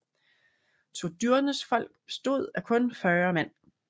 Turdurnes folk bestod af kun 40 mand